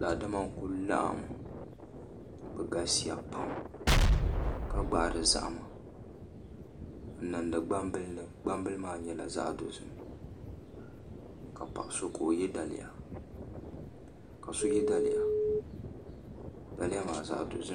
Daadama n ku laɣam bi galisiya pam ka gbaari zaham n niŋdi gbambili ni gbambili maa nyɛla zaɣ dozim ka paɣa so yɛ daliya daliya maa zaɣ dozim